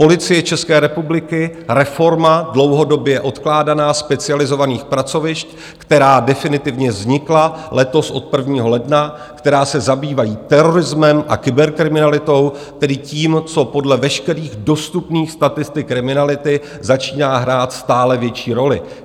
Policie České republiky, reforma dlouhodobě odkládaná specializovaných pracovišť, která definitivně vznikla letos od 1. ledna, která se zabývají terorismem a kyberkriminalitou, tedy tím, co podle veškerých dostupných statistik kriminality začíná hrát stále větší roli.